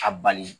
A bali